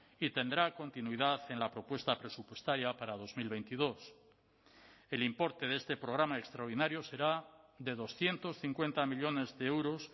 y tendrá continuidad en la propuesta presupuestaria para dos mil veintidós el importe de este programa extraordinario será de doscientos cincuenta millónes de euros